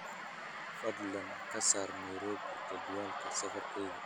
fadlan ka saar nairobi jadwalka safarkayga